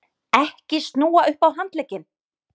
EKKI SNÚA UPP Á HANDLEGGINN!